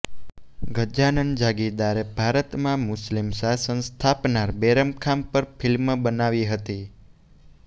ગજાનન જાગીરદારે ભારતમાં મુસ્લિમ શાસન સ્થાપનાર બૈરમખાન પર ફિલ્મ બનાવી હતી